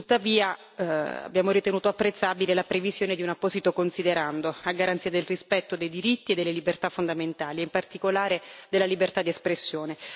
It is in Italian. Tuttavia, abbiamo ritenuto apprezzabile la previsione di un apposito considerando a garanzia del rispetto dei diritti e delle libertà fondamentali e in particolare della libertà di espressione.